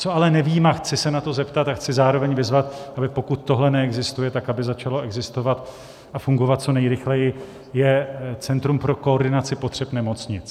Co ale nevím a chci se na to zeptat a chci zároveň vyzvat, aby pokud tohle neexistuje tak, aby začalo existovat a fungovat co nejrychleji, je centrum pro koordinaci potřeb nemocnic.